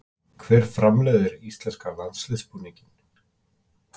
Hver framleiðir íslenska landsliðsbúninginn?